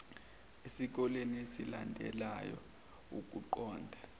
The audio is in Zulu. esikoleni esilandelayo ukuqonda